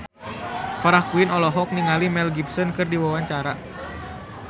Farah Quinn olohok ningali Mel Gibson keur diwawancara